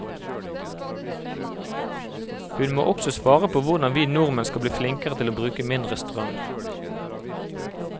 Hun må også svare på hvordan vi nordmenn skal bli flinkere til å bruke mindre strøm.